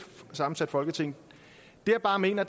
sammensat folketing det jeg bare mener